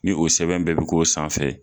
Ni o sɛbɛn bɛɛ bɛ k'o sanfɛ.